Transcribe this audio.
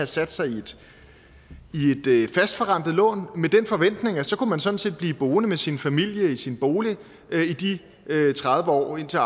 sat sig i et fastforrentet lån med den forventning at så kunne man sådan set blive boende med sin familie i sin bolig i de tredive år indtil